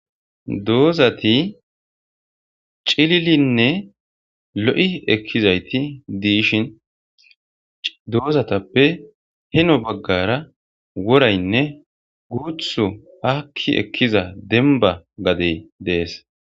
Doozati cililinne lo7i ekkizayti diishin doozatappe heno baggara woraynne guuthu aakki ekkiza dembba gadey dees.